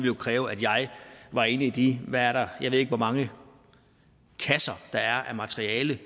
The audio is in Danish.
jo kræve at jeg var inde i de jeg ved ikke hvor mange kasser af materiale